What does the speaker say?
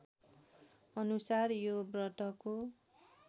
अनुसार यो व्रतको